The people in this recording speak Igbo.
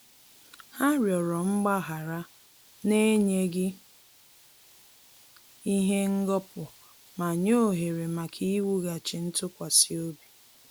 Ha rịọrọ mgbaghara na-enyeghi ihe ngọpu ma nye ohere maka iwughachi ntụkwasịobi